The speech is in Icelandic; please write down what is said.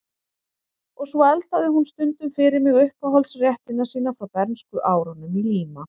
Og svo eldaði hún stundum fyrir mig uppáhaldsréttina sína frá bernskuárunum í Líma